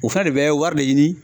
O fɛnɛ de bɛ wari de ɲini.